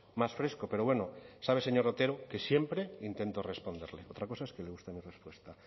más fresco pero bueno sabe señor otero que siempre intento responderle otra cosa es que le guste mi respuesta